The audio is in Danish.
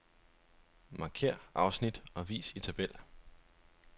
Markér afsnit og vis i tabel.